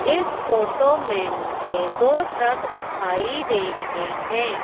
इस फोटो में मुझे दो ट्रक दिखाई दे रहे हैं।